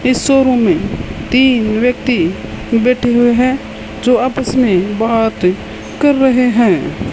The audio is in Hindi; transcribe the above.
इस शोरूम में तीन व्यक्ति बैठे हुए हैं जो आपस में बात कर रहे हैं।